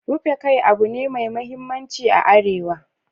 Rufe kai abu ne mai muhimmanci a arewa.